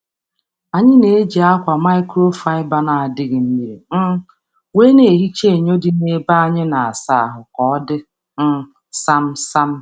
A na m eji ákwà microfiber asacha enyo ime ụlọ iji mee ka ọ bụrụ nke dị ọcha kpamkpam.